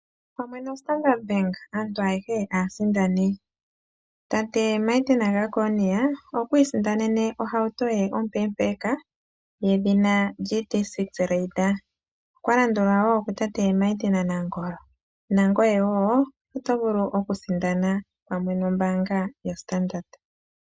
Pamwe noStandard Bank aantu ayehe aasindani . Tate Martin Jeckonia okwiisindanena ohauto ye ompeempeeka yedhina GD6 RB Raider, okwa landulwa kutate Martin Nangolo nangoye wo oto vulu okusindana .